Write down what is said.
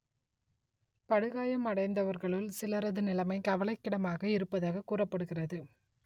படுகாயம் அடைந்தவர்களுள் சிலரது நிலமை கவலைக்கிடமாக இருப்பதாக் கூறப்படுகிறது